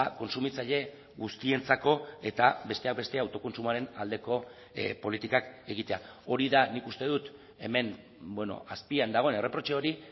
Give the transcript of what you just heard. kontsumitzaile guztientzako eta besteak beste autokontsumoaren aldeko politikak egitea hori da nik uste dut hemen azpian dagoen erreprotxe hori